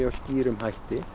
skýrum hætti